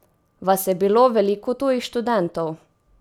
Vas je bilo veliko tujih študentov?